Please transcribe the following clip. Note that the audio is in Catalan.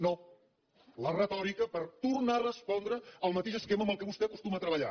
no la retòrica per tornar a respondre el mateix esquema amb què vostè acostuma a treballar